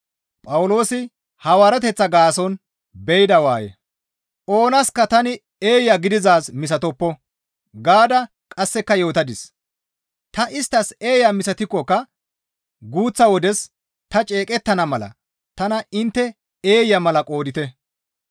Oonaska tani eeya gididaaz misatoppo gaada qasseka yootadis; ta isttas eeya misatikkoka guuththa wodes ta ceeqettana mala tana intte eeya mala qoodite.